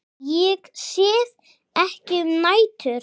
Ég sef ekki um nætur.